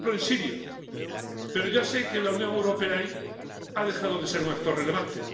por ejemplo en Siria, pero ya sé que la Unión Europea ahí ha dejado de ser un actor relevante.